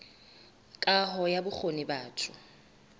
kaho ya bokgoni ba batho